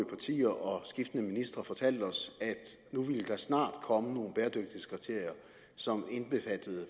partier og skiftende ministre fortalt os at nu ville der snart komme nogle bæredygtighedskriterier som indbefattede